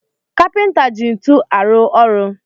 Kapinta ji ntu arụ ọrụ